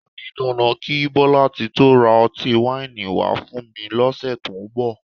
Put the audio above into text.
O di dandan kí Bọ́látitó ra ọtí wáìnì wá fún mi lọ́sẹ̀ tó ń bọ̀